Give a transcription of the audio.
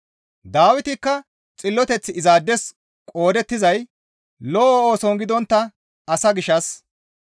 Dawitikka xilloteththi izaades qoodettizay lo7o ooson gidontta asa gishshas,